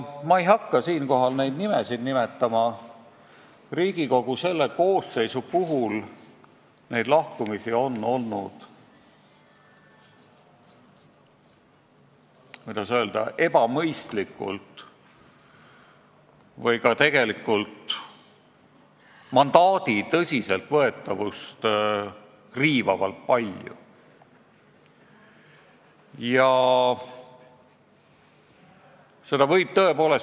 Ma ei hakka siinkohal nimesid nimetama, aga Riigikogu selle koosseisu puhul on neid lahkumisi olnud, kuidas öelda, ebamõistlikult ja ka mandaadi tõsiseltvõetavust riivavalt palju.